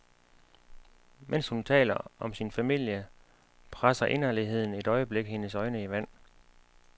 Mens hun taler om sin familie, presser inderligheden et øjeblik hendes øjne i vand.